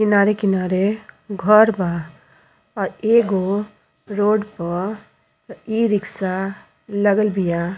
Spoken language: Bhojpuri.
किनारे किनारे घर बा आ एगो रोड प इ-रिक्शा लगल बिया।